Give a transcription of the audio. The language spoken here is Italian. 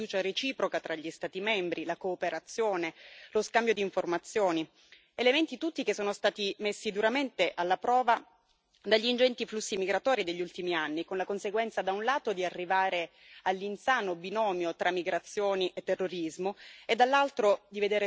elementi tutti che sono stati messi duramente alla prova dagli ingenti flussi migratori degli ultimi anni, con la conseguenza, da un lato, di arrivare all'insano binomio tra migrazioni e terrorismo e, dall'altro, di vedere soli e in difficoltà i paesi di frontiera, messi anche sotto accusa.